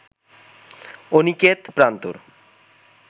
Aniket Prantor